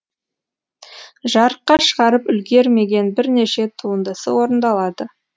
жарыққа шығарып үлгермеген бірнеше туындысы орындалады